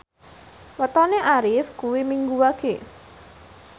wetone Arif kuwi Minggu Wage